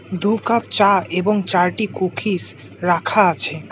দু কাপ চা এবং চারটি কুকিজ রাখা আছে।